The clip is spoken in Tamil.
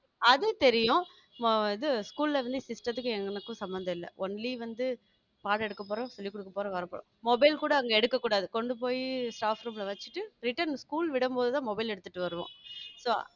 அது தெரியும் ஆ இது school ல இருந்து system த்துக்கும் எங்களுக்கும் சம்மந்தம் இல்ல only வந்து பாடம் எடுக்கப் போறோம் சொல்லி குடுக்க போறோம் வர போறோம் mobile கூட அங்க எடுக்கக் கூடாது கொண்டு போய் staffroom வச்சிட்டு return school விடும்போதுதான் mobile எடுத்திட்டு வர்றோம் so